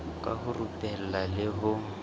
ka ho rupela le ho